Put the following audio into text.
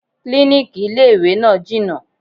Klíníkì ilé ìwé náà jìnà.